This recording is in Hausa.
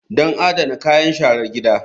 Don adana kayan sharar gida.